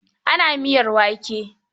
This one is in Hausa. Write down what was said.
Ana miyar wake.